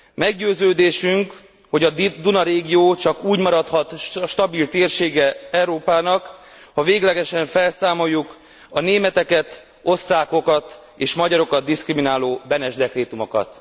Meggyőződésünk, hogy a Duna régió csak úgy maradhat stabil térsége Európának, ha véglegesen felszámoljuk a németeket, osztrákokat és magyarokat diszkrimináló Beneš dekrétumokat.